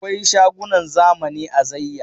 Akwai shagunan zamani a Zaiya.